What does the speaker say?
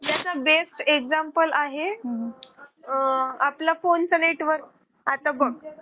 त्याचा best example आहे आपला phone चे network आता बघ